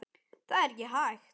Það er ekki hægt